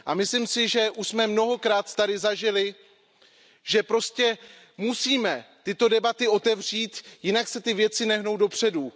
Myslím si, že už jsme mnohokrát zde zažili, že prostě musíme tyto debaty otevřít, jinak se ty věci nehnou dopředu.